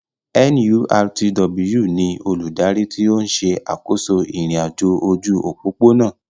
NURTW ni olùdarí tí ó ń ṣe àkóso ìrìn-àjò ojú òpópónà